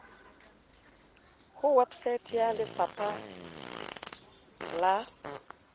ho website ya lefapa la